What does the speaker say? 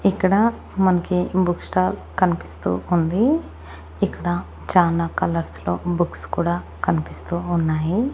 ఇక్కడ మనకి book stall కనిపిస్తూ ఉంది ఇక్కడ చానా కాళూర్స్ లో బుక్స్ కూడా కనిపిస్తూ ఉన్నాయి.